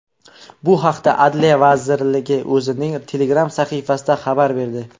Bu haqda Adliya vazirligi o‘zining Telegram sahifasida xabar berdi .